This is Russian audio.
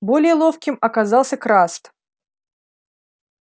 более ловким оказался краст